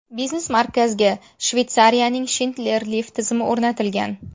Biznes markazga Shveytsariyaning Schindler lift tizimi o‘rnatilgan.